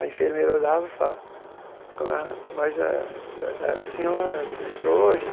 A enfermeira olhava e falava, mas eh eh a senhora entrou hoje?